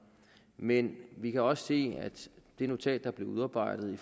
men vi kan også se at det notat der blev udarbejdet i